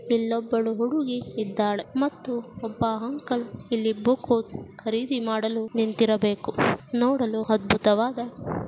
ಇಲ್ಲೊಬ್ಬಳು ಹುಡುಗಿ ಇದ್ದಾಳೆ ಮತ್ತು ಒಬ್ಬ ಅಂಕಲ್ ಇಲ್ಲಿ ಬುಕ್ಕು ಖರೀದಿ ಮಾಡಲು ನಿಂತಿರಬೇಕು. ನೋಡಲು ಅದ್ಭುತವಾದ--